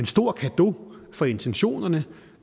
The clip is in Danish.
stor cadeau for intentionerne